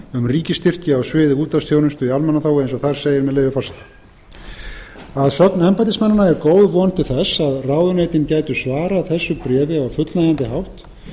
um ríkisstyrki á sviði útvarpsþjónustu í almannaþágu eins og þar segir með leyfi forseta að sögn embættismannanna var góð von til þess að ráðuneytin gætu svarað þessu bréfi á fullnægjandi hátt